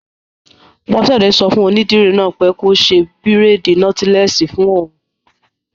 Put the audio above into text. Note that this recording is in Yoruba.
Bọ́sẹ̀dé sọ fún onídìrí náà pé kó ṣe bírèèdì nọ́tílẹ́ẹ̀sì fún òun